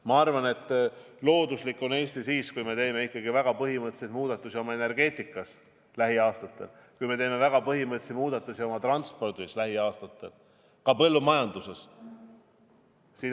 Ma arvan, et looduslik on Eesti siis, kui me teeme lähiaastatel ikkagi väga põhimõttelisi muudatusi oma energeetikas, kui me teeme lähiaastatel väga põhimõttelisi muudatusi oma transpordis ja ka põllumajanduses.